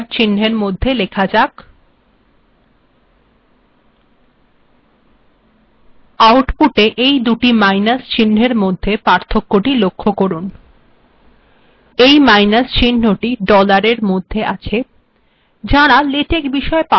দুিট minus িচহ্নএর মধ্েয পার্থক্যিট লকখখ করুন মাইনাস্ িচহ্নিট ডলার্ িচহ্নর মধ্েয আেছ যাঁরা েলেটক্ িবষেয পারদর্শী নন তাঁরা এই ভুলিটও প্রায়শই কের থােকন